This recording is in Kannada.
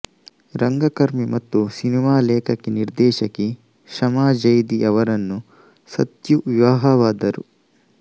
ರಂಗಕರ್ಮಿ ಮತ್ತು ಸಿನಿಮಾ ಲೇಖಕಿನಿರ್ದೇಶಕಿ ಶಮಾ ಜೈದಿ ಅವರನ್ನು ಸತ್ಯು ವಿವಾಹವಾದರು